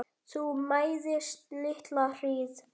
Þú mæðist litla hríð.